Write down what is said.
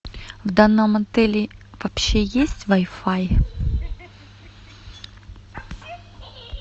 в данном отеле вообще есть вай фай